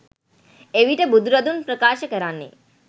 එවිට බුදුරදුන් ප්‍රකාශ කරන්නේ